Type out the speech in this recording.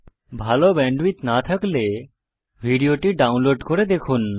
ভাল ব্যান্ডউইডথ না থাকলে ভিডিওটি ডাউনলোড করে দেখুন